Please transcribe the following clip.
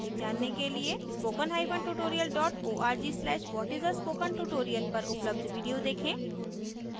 spokentutorial org/what is a spokentutorial पर उपलब्ध video देखें